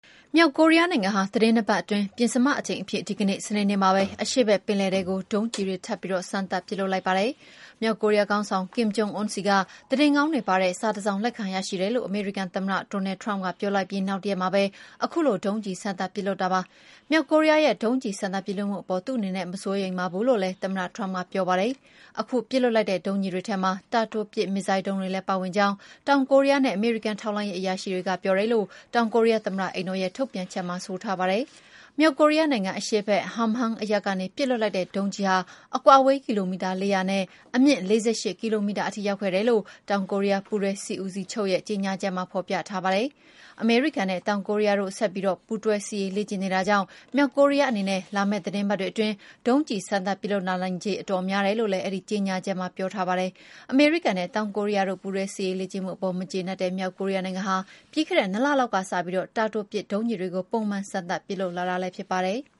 မြောက်ကိုရီးယားနိုင်ငံဟာ သီတင်း ၂ ပတ်အတွင်း ပဉ္စမအကြိမ်အဖြစ် ဒီကနေ့ စနေနေ့မှာပဲ အရှေ့ဖက်ပင်လယ်ထဲကို ဒုံးကျည်တွေ ထပ်ပြီး စမ်းသပ်ပစ်လွှတ်လိုက်ပါတယ်။ မြောက်ကိုရီးယားခေါင်းဆောင် ကင်မ်ဂျုံအွန်းဆီက သတင်းကောင်း တွေပါတဲ့ စာတစောင်လက်ခံရရှိတယ်လို့ အမေရိကန်သမ္မတ ဒေါ်နယ်ထရမ့်က ပြောလိုက်ပြီး နောက်တရက်မှာပဲ ခုလို ဒုံးကျည်စမ်းသပ်ပစ်လွှတ်လိုက်တာပါ။ မြောက်ကိုရီးယားရဲ့ ဒုံးကျည်စမ်းသပ်ပစ်လွှတ်မှုအပေါ် သူ့အနေနဲ့ မစိုးရိမ်ပါဘူးလို့ လည်း သမ္မတ ထရမ့်က ပြောဆိုပါတယ်။ ခုပစ်လွှတ်လိုက်တဲ့ဒုံးကျည်တွေထဲမှာ တာတိုပစ်မစ်ဇိုင်းဒုံးတွေလည်းပါဝင်ကြောင်း တောင်ကိုရီးယားနဲ့ အမေရိကန်ထောက်လှမ်းရေးအရာရှိတွေက ပြောတယ်လို့ တောင်ကိုရီးယားသမ္မတအိမ်တော်ရဲ့ထုတ်ပြန်ချက်မှာ ပြောထားပါတယ်။ မြောက်ကိုရီးယားနိုင်ငံ အရှေ့ဘက် Hamhumg အရပ်ကနေပစ်လွှတ်လိုက်တဲ့ ဒုံးကျည်ဟာ အကွာအဝေးကီလိုမီတာ ၄၀၀ နဲ့ အမြင့် ၄၈ ကီလိုမီတာထိရောက်ခဲ့တယ်လို့ တောင်ကိုရီးယား ပူးတွဲစစ်ဦးစီးချုပ်ရဲ့ ကြေငြာချက်မှာ ဖော်ပြထားတာပါ။ အမေရိကန်နဲ့ တောင်ကိုရီးယားတို့ ဆက်ပြီး ပူးတွဲစစ်ရေးလေ့ကျင့်နေတာကြောင့် မြောက်ကိုရီးယားအနေနဲ့ လာမယ့် သီတင်းပတ်အတွင်း ဒုံးကျည်စမ်းသပ်ပစ်လွှတ်လာနိုင်ချေ အတော်များတယ်လို့လည်းအဲဒီကြေညာချက်မှာ ပြောထားပါတယ်။ အမေရိကန်နဲ့ တောင်ကိုရီးယားတို့ ပူးတွဲစစ်ရေးလေ့ကျင့်မှုအပေါ် မကြေနပ်တဲ့ မြောက်ကိုရီးယားနိုင်ငံဟာ ပြီးခဲ့တဲ့နှစ်လလောက်ကစပြီး တာတိုပစ် ဒုံးကျည်တွေကို ပုံမှန် စမ်းသပ်ပစ်လွှတ်လာတာဖြစ်ပါတယ်။